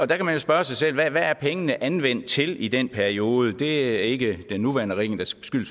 der kan man jo spørge sig selv hvad er pengene anvendt til i den periode det er ikke den nuværende regering der skal